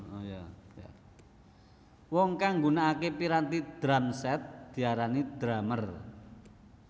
Wong kang nggunakake piranti drum set diarani drumer